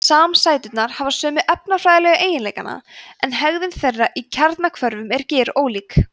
samsæturnar hafa sömu efnafræðilegu eiginleika en hegðun þeirra í kjarnahvörfum er gerólík